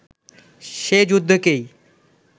সে যুদ্ধকেই